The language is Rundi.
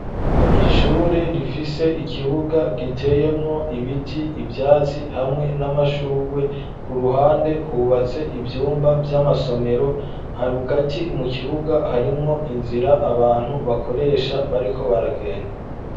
Ishure rifise ikibuga giteyemwo ibiti ivyatsi hamwe n'amashugwe ku ruhande hubatse ivyumba vy'amasomero hagati mu kibuga harimwo inzira abantu bakoresha bariko baragenda.